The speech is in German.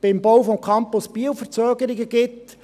beim Bau des Campus Biel Verzögerungen gibt.